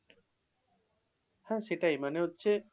হ্যাঁ সেটাই। মানে হচ্ছে,